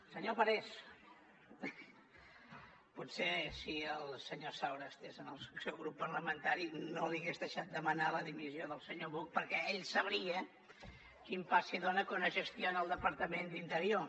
senyor parés potser si el senyor saura estigués en el seu grup parlamentari no li hagués deixat demanar la dimissió del senyor buch perquè ell sabria quin pa s’hi dóna quan es gestiona el departament d’interior